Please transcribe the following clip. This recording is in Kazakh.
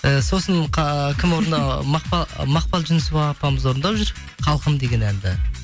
і сосын кім мақпал жүнісова апамыз орындап жүр халқым деген әнді